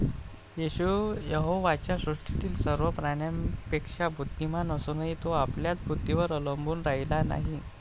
येशू यहोवाच्या सृष्टीतील सर्व प्राण्यांपेक्षा बुद्धिमान असूनही, तो आपल्याच बुद्धीवर अवलंबून राहिला नाही.